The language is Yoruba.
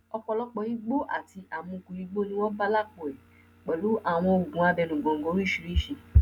ọpọlọpọ igbó àti àmukù igbó ni wọn bá lápò ẹ pẹlú àwọn oògùn abẹnugọńgọ oríṣìíríṣìí